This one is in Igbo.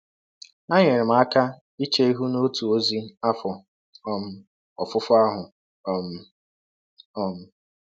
Ha nyeere m aka iche ihụ n’ọtụ ọzi afọ um ọfụfọ ahụ um. um